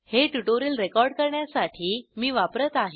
हे tutorial record करण्यासाठी मी वापरत आहे